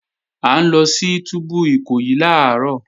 À ń lọ sí túbú Ìkòyí làárọ̀